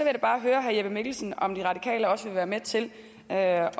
da bare høre herre jeppe mikkelsen om de radikale også vil være med til at